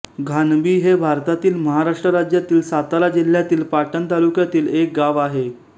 घाणबी हे भारतातील महाराष्ट्र राज्यातील सातारा जिल्ह्यातील पाटण तालुक्यातील एक गाव आहे